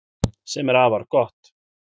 Sem er afar gott